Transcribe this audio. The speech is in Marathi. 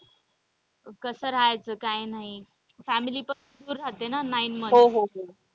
कस रहायचं काय नाही family पासून दूर रहाते ना months.